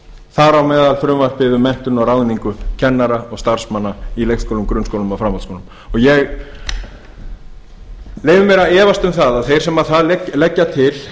þar á meðal frumvarpið um menntun og ráðningu kennara og starfsmanna í leikskólum grunnskólum og framhaldsskólum og ég leyfi mér að efast um að þeir sem það leggja til